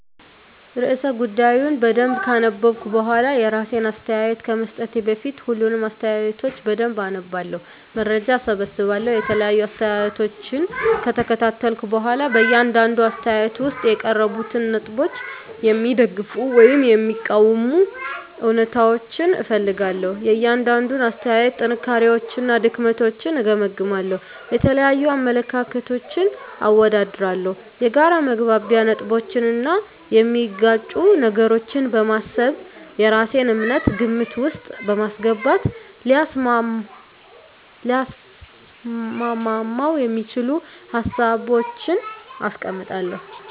*ርዕሰ ጉዳዩን በደንብ ካነበብኩ በኋላ፤ *የራሴን አስተያየት ከመስጠቴ በፊት፦ ፣ሁሉንም አስተያየቶች በደንብ አነባለሁ፣ መረጃ እሰበስባለሁ የተለያዩ አስተያየቶችን ከተከታተልኩ በኋላ በእያንዳንዱ አስተያየት ውስጥ የቀረቡትን ነጥቦች የሚደግፉ ወይም የሚቃወሙ እውነታዎችን እፈልጋለሁ፤ * የእያንዳንዱን አስተያየት ጥንካሬዎችና ድክመቶችን እገመግማለሁ። * የተለያዩ አመለካከቶችን አወዳድራለሁ። የጋራ መግባቢያ ነጥቦችን እና የሚጋጩ ነገሮችን በማሰብ የራሴን እምነት ግምት ውስጥ በማስገባት ሊያስማሙ የሚችሉ ሀሳቦችን አስቀምጣለሁ።